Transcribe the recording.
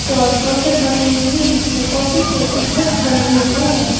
Poster बनी हुई जिसमें काफी के पिक्चर्स बने हुए हैं।